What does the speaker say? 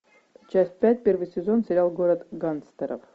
часть пять первый сезон сериал город гангстеров